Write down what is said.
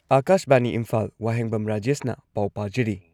ꯑꯥꯀꯥꯁꯕꯥꯅꯤ ꯏꯝꯐꯥꯜ ꯋꯥꯍꯦꯡꯕꯝ ꯔꯥꯖꯦꯁꯅ ꯄꯥꯎ ꯄꯥꯖꯔꯤ